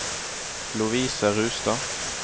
Lovise Rustad